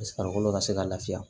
farikolo ka se ka laafiya